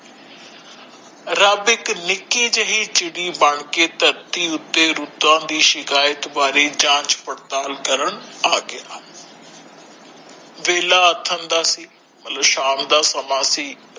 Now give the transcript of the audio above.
rub ਇਕ ਨਿਕੀ ਜਿਹੀ ਚਿੜੀ ਬਣ ਕੇ ਧਰਤੀ ਉੱਥੇ ਰੁੱਤਾਂ ਦੀ ਸ਼ਿਕਯਾਤ ਬਾਰੇ ਝਾਂਜ ਪੜਤਾਲ ਕਰਨ ਆਗਯਾ ਵੇਲਾ ਦਾ ਸੀ ਮਤਲਬ ਸ਼ਾਮ ਦਾ ਸਮਾਂ ਸੀ